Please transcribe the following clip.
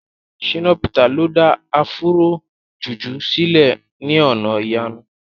Shina Peter lo da Afúró jùjú sílẹ̀ ní ọ̀nà ìyanu.